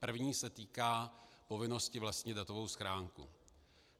První se týká povinnosti vlastnit datovou schránku.